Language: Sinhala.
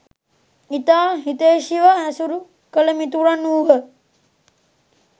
ඉතා හිතෛශීව ඇසුරු කළ මිතුරන් වූහ.